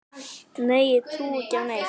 Nei ég trúði ekki á neitt.